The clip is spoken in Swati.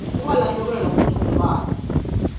ungalahlekelwa kutsi ungubani